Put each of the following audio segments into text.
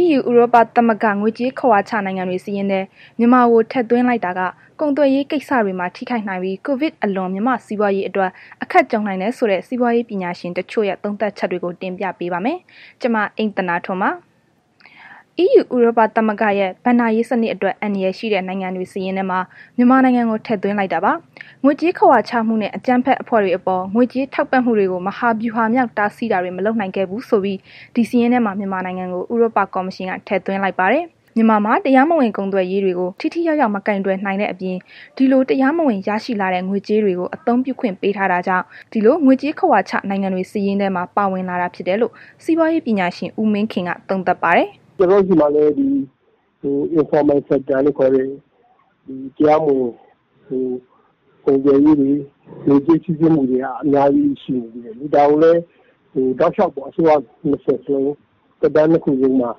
EU ဥရောပသမဂ္ဂက ငွေကြေးခဝါချ နိုင်ငံတွေစာရင်းထဲ မြန်မာကိုထည့်သွင်းလိုက်တာ ကုန်သွယ်ရေးကိစ္စတွေမှာ ထိခိုက်နိုင်ပြီး COVID အလွန် မြန်မာ့စီးပွားရေးအတွက် အခက်ကြုံနိုင်တယ်ဆိုတဲ့ စီးပွားရေးပညာရှင်တချို့ရဲ့ သုံးသပ်ချက်တွေကို ဗွီအိုအေမြန်မာပိုင်းသတင်းထောက် မအိမ့်သန္တာထွန်းက တင်ပြပေးပါမယ်။ EU ဥရောပသမဂ္ဂရဲ့ ဘဏ္ဍာရေးစနစ်အတွက် အန္တရာယ်ရှိတဲ့ နိုင်ငံတွေစာရင်းမှာ မြန်မာနိုင်ငံကို ထည့်သွင်းလိုက်တာပါ။ ငွေကြေးခဝါချမှုနဲ့ အကြမ်းဖက်အဖွဲ့တွေအပေါ် ငွေကြေးထောက်ပံ့မှုတွေကို မဟာဗျူဟာမြောက် တားဆီးတာတွေ မလုပ်နိုင်ခဲ့ဘူးဆိုပြီး ဒီစာရင်းထဲမှာ မြန်မာနိုင်ငံကို ဥရောပကော်မရှင်က ထည့်သွင်းလိုက်ပါတယ်။ မြန်မာမှာ တရားမဝင်ကုန်သွယ်ရေးတွေကို ထိထိရောက်ရောက် မကိုင်တွယ်နိုင်တဲ့ အပြင် ဒီလို တရားမဝင်ရရှိလာတဲ့ ငွေကြေးတွေကို အသုံးပြုခွင့်ပေးထားတာကြောင့် ဒီလို ငွေကြေးခဝါချ နိုင်ငံတွေ စာရင်းထဲမှာ ပါဝင်လာတာဖြစ်တယ်လို့ စီးပွားရေးပညာရှင် ဦးမင်းခင်က သုံးသပ်ပါတယ်။ “ကျနော်တို့ဆီမှာ ဒီ တရားမဝင်ကုန်သွယ်ရေးတွေ ငွေကြေး စီးဆင်းမှုတွေက အများကြီးရှိနေသေးတယ်လေ။ ဒါကိုလည်း တောက်လျှောက်ပေါ့။ အစိုးရ သက်တမ်းနှစ်ခုလုံးမှာ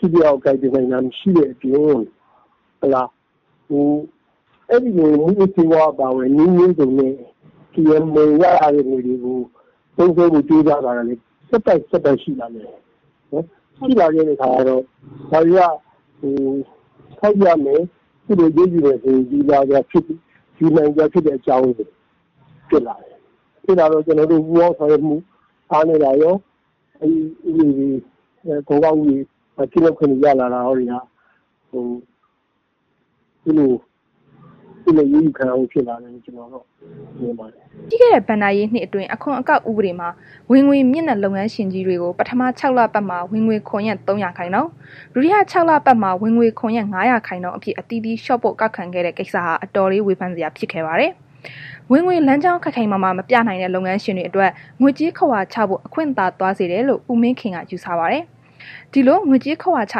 ထိထိရောက်ရောက် ကိုင်တွယ်နိုင်တာ မရှိတဲ့အပြင် အဲ့ဒီလို မူးယစ်ဆေးဝါးအပါအဝင် နည်းမျိုးစုံနဲ့ ရလာတဲ့ ငွေတွေကို သုံးစွဲဖို့ ကြိုးစားတာကလည်း ဆက်တိုက်၊ ဆက်တိုက်ရှိလာတယ်။ ရှိလာတဲ့ အခါ ဒါတွေက ထောက်ပြမယ်၊ အရေးယူမယ်ဆိုရင် ဒီဟာတွေဟာ အရေးယူနိုင်စရာ အကြောင်းတွေဖြစ်တယ်။ ကျနော်တို့မှာ ပူးပေါင်းဆောင်ရွက်မှု အားနည်းတာရော အခွန်အကောက်မှာ ကင်းလွတ်ခွင့်တွေ ရလာတာရောက ဒီလို အရေးယူခံရဖို့ ဖြစ်လာတယ်လို့ ကျနော်က မြင်ပါတယ်။” ပြီးခဲ့တဲ့ ဘဏ္ဍာရေးနှစ်အတွင်း အခွန်အကောက်ဥပဒေမှာ ဝင်ငွေမြင့်တဲ့ လုပ်ငန်းရှင်ကြီးတွေကို ပထမ ခြောက်လပတ်မှာ ဝင်ငွေခွန်ရဲ့ ၃ ရာခိုင်နှုန်း၊ ဒုတိယ ခြောက်လပတ်မှာ ဝင်ငွေခွန်ရဲ့ ၅ ရာခိုင်နှုန်းအဖြစ် အသီးသီးလျှော့ပေါ့ ကောက်ခံခဲ့တဲ့ကိစ္စဟာ အတော်လေး ဝေဖန်စရာဖြစ်ခဲ့ပါတယ်။ ဝင်ငွေလမ်းကြောင်း ခိုင်ခိုင်မာမာ မပြနိုင်တဲ့ လုပ်ငန်းရှင်တွေအတွက် ငွေကြေးခဝါချဖို့ အခွင့်သာသွားစေတယ်လို့ ဦးမင်းခင်က ယူဆပါတယ်။ ဒီလို ငွေကြေးခဝါချ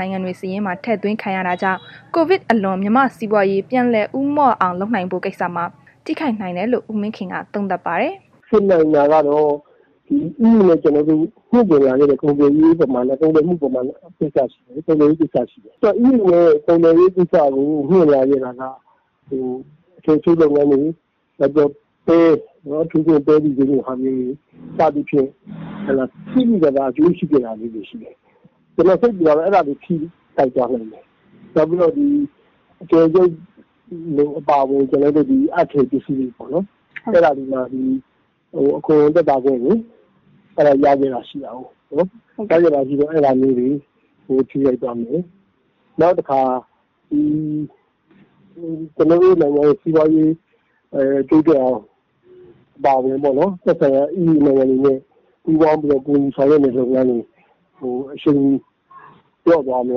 နိုင်ငံတွေစာရင်းမှာ ထည့်သွင်းခံရတာကြောင့် COVID အလွန် မြန်မာ့စီးပွားရေး ပြန်လည်ဦးမော့အောင်လုပ်ဖို့ကိစ္စမှာ ထိခိုက်နိုင်တယ်လို့ ဦးမင်းခင်က သုံးသပ်ပါတယ်။ “ဖြစ်နိုင်တာကတော့ EU နဲ့ ကျနော်တို့ မြှင့်တင်လာခဲ့တဲ့ ကုန်သွယ်ရေးကိစ္စတွေ ရှိတယ်။ အဲ့လို ကုန်သွယ်ရေးလုပ်ငန်းကို မြှင့်လာခဲ့တာက အထည်ချုပ်လုပ်ငန်းတွေ၊ နောက်ပဲ အထူးသဖြင့် ပဲတီစိမ်းလိုဟာမျိုးတွေ စသည်ဖြင့် သိသိသာသာ အကျိုးရှိခဲ့တဲ့ ဟာတွေ ကျနော် စိတ်ပူတာက အဲ့ဒါတွေ ထိခိုက်သွားနိုင်တယ်။ နောက်အထည်ချုပ်အပါအဝင် အပ်ထည်ပစ္စည်တွေပေါ့နှော်။ အဲ့ဒါတွေမှာ အခွန်သက်သာခွင့်တွေ ရနေတာရှိတာကိုး၊ အဲ့ဒါမျိုးတွေကို ထိခိုက်သွားမယ်။ နောက်တခါ လူမှုရေး၊ နိုင်ငံရေး၊ စီးပွားရေး တိုးတက်အောင် အပါအဝင်ပေါ့နှော် သက်ဆိုင်ရာ EU နိုင်ငံတွေနဲ့ ပူးပေါင်းပြီးတော့ ကူညီဆောင်ရွက်နေတဲ့ လုပ်ငန်းတွေကို အရှိန်လျော့ သွားမ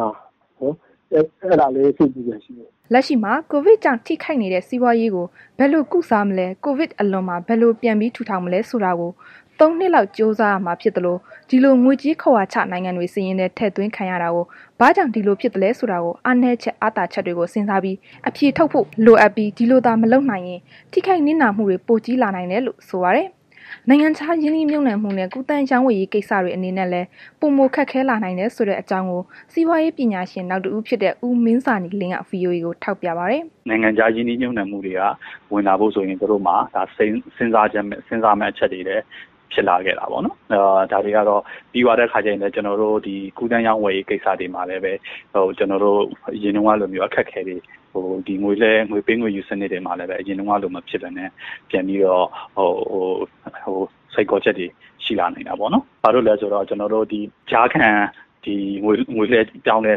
လား အဲ့ဒါလည်း စိတ်ပူစရာ ရှိတယ်။” လက်ရှိမှာ ကိုဗစ်ကြောင့် ထိခိုက်နေတဲ့ စီးပွားရေးကို ဘယ်လို ကုစားမလဲ ကိုဗစ်အလွန်မှာ ဘယ်လိုပြန်ပြီး ထူထောင်မလဲ ဆိုတာကို ၃ နှစ်လောက် ကြိုးစားရမှာ ဖြစ်သလို ဒီလို ငွေကြေးခဝါချ နိုင်ငံတွေ စာရင်းထဲ ထည့်သွင်းခံရတာကို ဘာကြောင့် ဒီလိုဖြစ်သလဲဆိုတာကို အားနည်းချက်အားသာချက်တွေကို စဉ်းစားအဖြေထုတ်ဖို့ လိုအပ်ပြီး ဒီလိုသာ မလုပ်နိုင်ရင် ထိခိုက်နစ်နာမှုက ပိုကြီးလာနိုင်တယ်လို့ ဆိုပါတယ်။ နိုင်ငံခြားရင်းနှီးမြှုပ်နှံမှုနဲ့ ကူးသန်းရောင်းဝယ်ရေး ကိစ္စတွေအနေနဲ့လည်း ပိုမိုခက်ခဲလာနိုင်တယ်ဆိုတဲ့အကြောင်းကို စီးပွားရေးပညာရှင်နောက်တဦးဖြစ်တဲ့ ဦးမင်းဇာနည်လင်းက VOA ကို ထောက်ပြပါတယ်။ “နိုင်ငံခြားရင်းနှီးမြှုပ်နှံမှုတွေက ဝင်လာဖို့ဆိုရင် သူတို့မှာ စဉ်စားရမယ့် အချက်တွေဖြစ်လာတာ ပေါ့နှော်။ ပြီးတော့ ဒီကူးသန်းရောင်းဝယ်ရေး ကိစ္စတွေမှာလည်းပဲ ကျနော်တို့ အရင်တုန်းကလိုမျိုး အခက်အခဲတွေ၊ ငွေပေးငွေယူစနစ်မှာလည်းပဲ အရင်ကလို မဖြစ်ပဲနဲ့ ပြန်ပြီးတော့ စိန်ခေါ်ချက်တွေ ရှိလာနိုင်တာပေါ့နှော်။ ဘာလို့လဲဆိုတော့ ကျနော်တို့ကြားခံ ဒီ ငွေလွဲပြောင်းတဲ့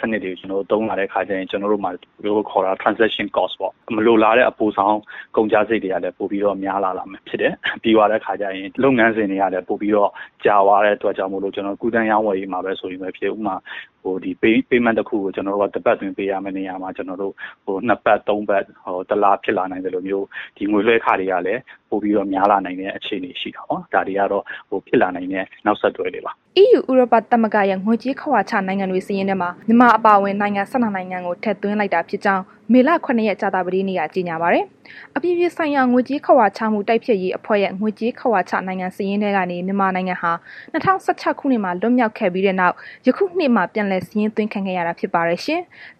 စနစ်တွေကို သုံးလာတဲ့အခါကျရင် မလိုလားအပ်တဲ့ ကုန်ကျစရိတ်တွေကလည်း ပိုပြီးတော့ ကုန်ကျလာမှာဖြစ်တယ်။ ပြီးတော့ လုပ်ငန်းစဉ်တွေကလည်း ပိုပြီးတော့ ကြာသွားတဲ့အခါကျတော့ ကူးသန်းရောင်းဝယ်ရေးမှာပဲ ဆိုရင်ဖြစ်ဖြစ် ဥပမာ Payment တစ်ခုကို တစ်ပတ်အတွင်း ပေးရမယ့် နေရာမှာ နှစ်ပတ် ၃ ပတ် တစ်လ ဖြစ်လာနိုင်သလိုမျိုး ဒီငွေလွဲခတွေကလည်း ပိုပြီးတော့ များလာနိုင်တဲ့ အခြေအနေ ရှိတာပေါ့နှော်။ ဒါတွေကတော့ ဖြစ်လာနိုင်တဲ့ နောက်ဆက်တွဲတွေပါ။” EU ဥရောပသမဂ္ဂရဲ့ ငွေကြေးခဝါချ နိုင်ငံစာရင်းတွေထဲမှာ မြန်မာ အပါအဝင် နိုင်ငံ ၁၂ နိုင်ငံကို ထည့်သွင်းလိုက်တာဖြစ်ကြောင်း မေလ ၇ ရက် ကြာသပတေးနေ့က ကြေညာပါတယ်။ အပြည်ပြည်ဆိုင်ရာ ငွေကြေးခဝါချမှု တိုက်ဖျက်ရေးအဖွဲ့ရဲ့ ငွေကြေးခဝါချ နိုင်ငံစာရင်းထဲကနေ မြန်မာနိုင်ငံဟာ ၂၀၁၆ ခုနှစ်မှာ လွတ်မြောက်ခဲ့ပြီးတဲ့နောက် ယခုနှစ်မှာ ပြန်လည်စာရင်းသွင်းခံခဲ့ရတာ ဖြစ်ပါတယ်ရှင်။